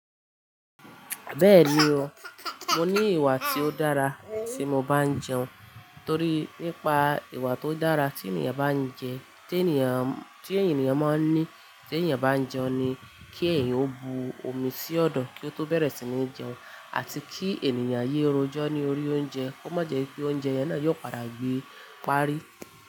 Bẹ́ẹ̀ni o, mo ní ìwà tí ó dára tí mo bá ń jẹun torí nípa ìwà tó dára tí ènìyàn bá ń jẹ, tí ènìyàn, tí ènìyàn máa ń ní tí ènìyàn bá ń jẹun ni kí ẹ̀yin ó bu omi sí ọ̀dọ́ kí ó tó bẹ̀rẹ̀ sí ní jẹun àti kí ènìyàn yé ro jọ́ ní orí oúnjẹ kó má jẹ pe oúnjẹ yẹn náà yóò padà gbé parí.